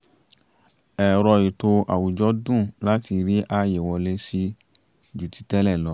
ẹ̀rọ ètò àwùjọ dùn láti rí ààye wọlé sí ju ti tẹ́ẹlẹ̀ lọ